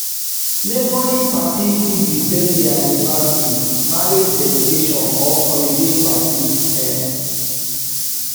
neighbouring parti fit be birthday anniversary marriage dedication or holiday parti um